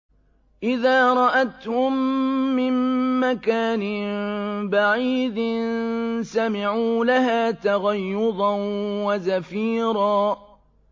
إِذَا رَأَتْهُم مِّن مَّكَانٍ بَعِيدٍ سَمِعُوا لَهَا تَغَيُّظًا وَزَفِيرًا